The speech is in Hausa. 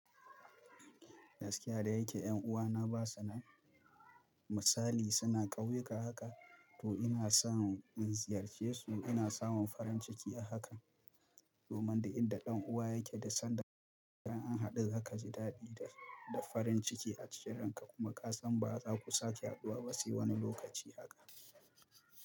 Gaskiya da yake 'yan uwana ba sanan misali suna ƙauyuka haka to ina samun in ziyarce su ina samun farin ciki haka. Domin da inda dan uwa yake da san da ka an haɗu haka ji daɗi da farin ciki a cikin ranka kuma ƙasan ba za ku sake haduwa ba sai wani lokaci haka.